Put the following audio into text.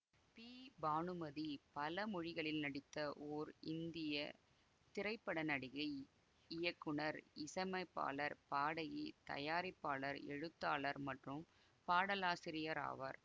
B Bhanumathi பல மொழிகளில் நடித்த ஓர் இந்திய திரைப்பட நடிகை இயக்குனர் இசையமைப்பாளர் பாடகி தயாரிப்பாளர் எழுத்தாளர் மற்றும் பாடலாசிரியர் ஆவார்